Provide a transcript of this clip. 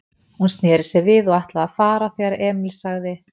Hún sneri sér við og ætlaði að fara, þegar Emil sagði